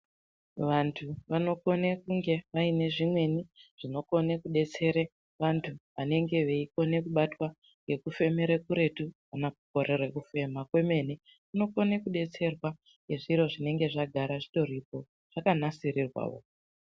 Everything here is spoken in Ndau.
Vantu vanokone kunge vaine zvimweni zvinokone kudetsere vantu vanenge veikone kubatwa ngekufemere kuretu kana kukorere kufema kwemene kunokone kudetserwa ngezviro zvinonge zvagara zvitoripo zvakanasirirwawo.